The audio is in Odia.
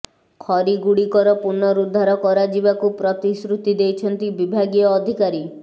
ଖରୀ ଗୁଡିକର ପୁନଃଉଦ୍ଧାର କରାଯିବାକୁ ପ୍ରତିଶ୍ରୃତି ଦେଇଛନ୍ତି ବିଭାଗୀୟ ଅଧିକାରୀ